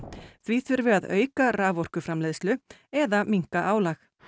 því þurfi að auka raforkuframleiðslu eða minnka álag